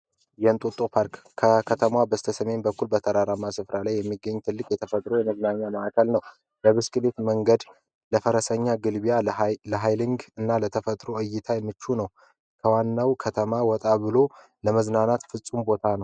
የእንጦጦ ፓርክ በከተማው በስተሜን በኩል ተራራ ላይ የሚገኙ ትልቅ የተፈጥሮ ማዕከል ነው የብስክሌት መንገድ ለፈረሰኛ መጋለቢያ እና ለተፈጥሮ መዝናኛ ምቹ ነው ከዋነው ከተማ ወጣ ብሎ ለመዝናናት ምቹ ቦታ ነው።